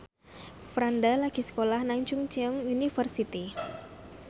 Franda lagi sekolah nang Chungceong University